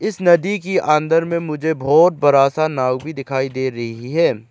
इस नदी की अंदर में मुझे बहोत बड़ा सा नाव भी दिखाई दे रही है।